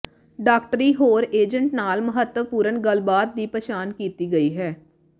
ਡਾਕਟਰੀ ਹੋਰ ਏਜੰਟ ਨਾਲ ਮਹੱਤਵਪੂਰਨ ਗੱਲਬਾਤ ਦੀ ਪਛਾਣ ਕੀਤੀ ਗਈ ਹੈ